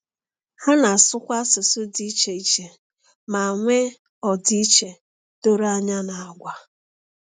Ha na-asụkwa asụsụ dị iche iche ma nwee ọdịiche doro anya n’àgwà.